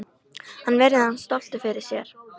Hann virðir hann stoltur fyrir sér.